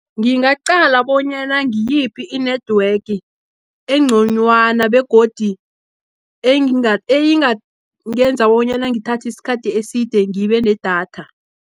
Ngiyaqala bonyana ngiyiphi i-network engconywana, begodi engenza bonyana ngithathi isikhathi eside ngibenedatha.